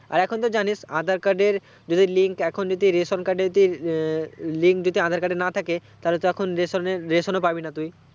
আর এখন তো জানিস aadhar card যদি link এখন যদি রোশন ration card তে link যদি না থাকে রেশনেরেশনও পাবি না তুই